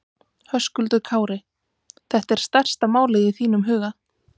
Höskuldur Kári: Þetta er stærsta málið í þínum huga?